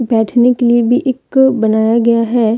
बैठने के लिए भी एक बनाया गया है।